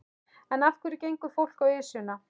En af hverju gengur fólk á Esjuna?